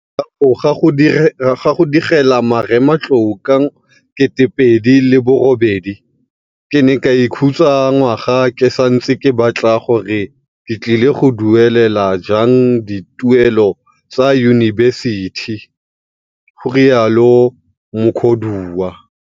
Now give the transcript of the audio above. Morago ga go digela marematlou ka 2008, ke ne ka ikhutsa ngwaga ke santse ke batla gore ke tlile go duelela jang dituelo tsa yunibesithi, go rialo Mukhodiwa.